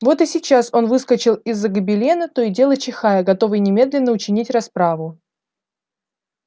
вот и сейчас он выскочил из-за гобелена то и дело чихая готовый немедленно учинить расправу